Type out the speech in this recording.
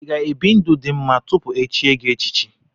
Ị ga-ebi ndụ dị mma tupu echie gị echichi?